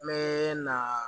N bɛ na